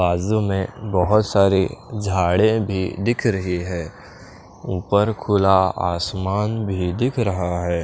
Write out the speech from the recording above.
बाजू में बोहोत सारी झाड़े भी दिख रही है उपर खुला आसमान भी दिख रहा है।